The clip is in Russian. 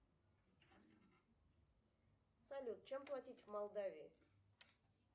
салют чем платить в молдавии